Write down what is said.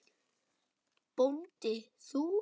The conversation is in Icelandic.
BÓNDI: Þú?